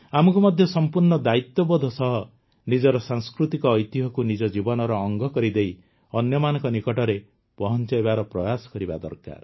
ଆମକୁ ମଧ୍ୟ ସଂପୂର୍ଣ୍ଣ ଦାୟିତ୍ୱବୋଧ ସହ ନିଜର ସାଂସ୍କୃତିକ ଐତିହ୍ୟକୁ ନିଜ ଜୀବନର ଅଙ୍ଗ କରିଦେଇ ଅନ୍ୟମାନଙ୍କ ନିକଟରେ ପହଂଚାଇବାର ପ୍ରୟାସ କରିବା ଦରକାର